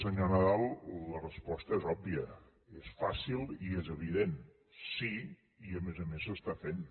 senyor nadal la resposta és òbvia és fàcil i és evident sí i a més a més s’està fent